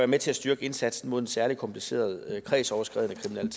med til at styrke indsatsen mod den særlig komplicerede kredsoverskridende